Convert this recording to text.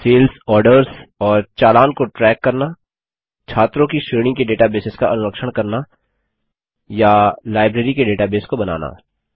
sales orders और चालान को ट्रैक करना छात्रों की श्रेणी के डेटाबेसेस का अनुरक्षण करना या लाइब्रेरी के डेटाबेस को बनाना